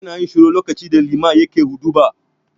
Mutane suna yin shiru lokacin da liman yake huɗuba.